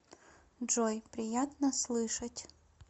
джой приятно слышать